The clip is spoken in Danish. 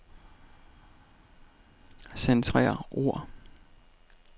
Centrer ord.